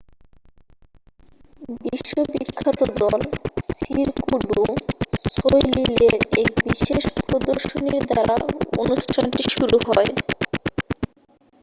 বিশ্ব বিখ্যাত দল সিরকু ডু সোইলিলের এক বিশেষ প্রদর্শনীর দ্বারা অনুষ্ঠানটি শুরু হয়